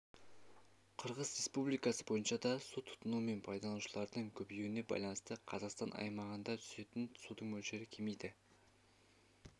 қырғыз республикасы бойынша да су тұтыну мен пайдаланушылардың көбеюіне байланысты қазақстан аймағында түсетін судың мөлшері кемиді